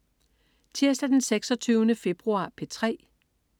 Tirsdag den 26. februar - P3: